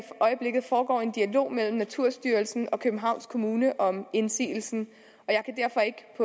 øjeblikket foregår en dialog mellem naturstyrelsen og københavns kommune om indsigelsen